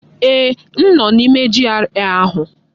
Eeh, m nọ n'ime GRA ahụ.